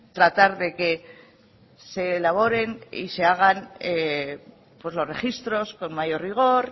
tratar de que se elaboren y se hagan los registros con mayor rigor